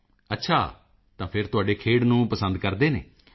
ਮੋਦੀ ਜੀ ਅੱਛਾ ਤਾਂ ਫਿਰ ਤੁਹਾਡੇ ਖੇਡ ਨੂੰ ਪਸੰਦ ਕਰਦੇ ਹਨ